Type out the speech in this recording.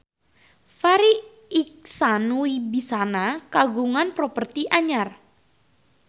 Farri Icksan Wibisana kagungan properti anyar